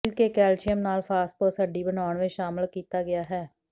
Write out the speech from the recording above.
ਮਿਲ ਕੇ ਕੈਲਸ਼ੀਅਮ ਨਾਲ ਫਾਸਫੋਰਸ ਹੱਡੀ ਬਣਾਉਣ ਵਿਚ ਸ਼ਾਮਲ ਕੀਤਾ ਗਿਆ ਹੈ